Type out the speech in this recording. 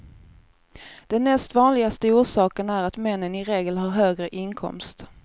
Den näst vanligaste orsaken är att männen i regel har högre inkomst.